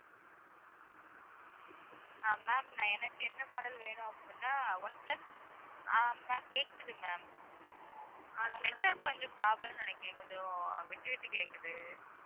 ஆஹ் ma'am நான் எனக்கு என்ன model வேணும் அப்படின்னா ஒன்பிளஸ் ஆஹ் ma'amma'am உங்க network கொஞ்சம் problem ன்னு, நினைக்கிறேன். கொஞ்சம் விட்டுவிட்டு கேக்குது